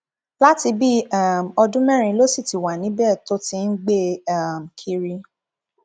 láti bíi um ọdún mẹrin ló sì ti wà níbẹ tó ti ń gbé e um kiri